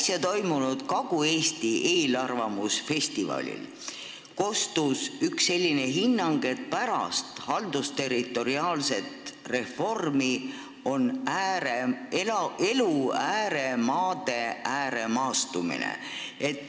Äsja toimunud Kagu-Eesti eelarvamusfestivalil kostis üks selline hinnang, et pärast haldusterritoriaalset reformi on toimunud ääremaade ääremaastumine.